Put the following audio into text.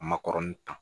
A ma kɔrɔni ta